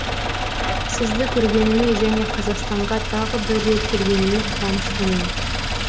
сізді көргеніме және қазақстанға тағы бір рет келгеніме қуаныштымын